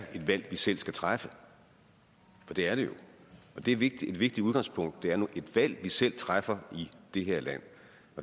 et valg vi selv skal træffe for det er det jo og det er vigtigt vigtigt udgangspunkt det er nu et valg vi selv træffer i det her land